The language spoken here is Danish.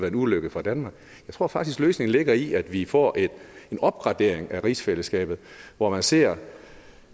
en ulykke for danmark jeg tror faktisk at løsningen ligger i at vi får en opgradering af rigsfællesskabet hvor man ser